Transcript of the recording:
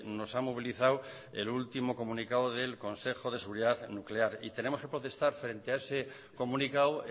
nos ha movilizado el último comunicado del consejo de seguridad nuclear y tenemos que protestar frente a ese comunicado